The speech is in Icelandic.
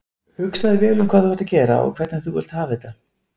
Hugsaðu vel um hvað þú ert að gera og hvernig þú vilt hafa þetta.